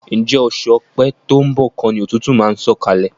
Ǹjẹ́ oṣù Ọ̀pẹ to ń bọ̀ kọ́ ni òtútù máa ń sọ̀kalẹ̀?